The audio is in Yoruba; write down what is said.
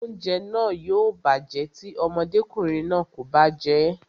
Oúnjẹ náà yóò bàjẹ́ tí ọmọdékùnrin náà kò bá jẹ́ẹ́